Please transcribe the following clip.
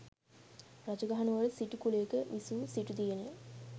රජගහනුවර සිටු කුලයක විසූ සිටු දියණිය